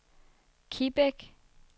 Kibæk